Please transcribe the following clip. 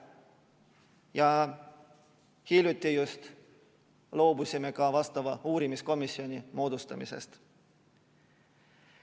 Just hiljuti loobusime ka vastava uurimiskomisjoni moodustamisest.